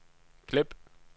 klip